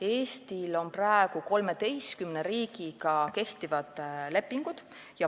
Eestil on praegu 13 riigiga kehtivad lepingud.